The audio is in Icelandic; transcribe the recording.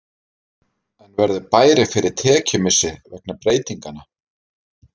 En verður bærinn fyrir tekjumissi vegna breytinganna?